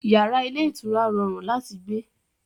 Yàrá ilé ìtura rọrùn láti gbé